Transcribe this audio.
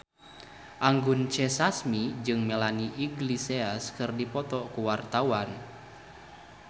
Anggun C. Sasmi jeung Melanie Iglesias keur dipoto ku wartawan